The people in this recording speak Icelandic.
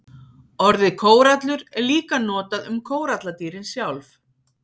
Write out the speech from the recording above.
Orðið kórallur er líka notað um kóralladýrin sjálf.